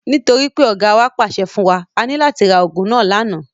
Nítorí pé Ọ̀gáa wa pàṣẹ fún wa, a ní láti ra ogún náà lànà.